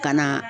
Ka na